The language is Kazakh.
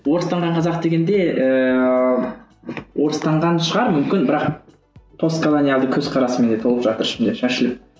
орыстанған қазақ дегенде ііі орыстанған шығар мүмкін бірақ постколониялды көзқарас менде толып жатыр ішімде шашылып